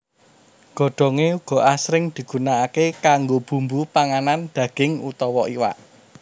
Godhongé uga asring digunakaké kanggo bumbu panganan daging utawa iwak